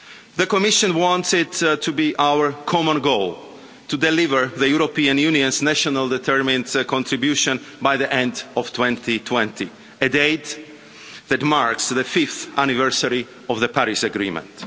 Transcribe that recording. The Commission wants it to be our common goal to deliver the European Union's nationally determined contribution by the end of 2020, a date that marks the fifth anniversary of the Paris Agreement.